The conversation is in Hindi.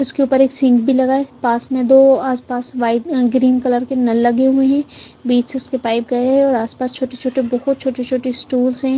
उसके ऊपर एक सिंक भी लगा है पास में दो आसपास वाइट ग्रीन कलर के नल लगे हुए हैं बीच से उसके पाइप गए है और आसपास छोटे-छोटे बहुत छोटे-छोटी स्टूल्स हैं।